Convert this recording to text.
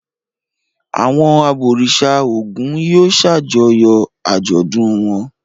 Àwọn abọ̀rìṣà Ògún yóò ṣàjọyọ̀ àjọ̀dún wọn.